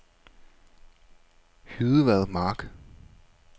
Hydevad Mark